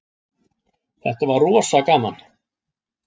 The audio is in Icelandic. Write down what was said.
Þetta var rosa gaman.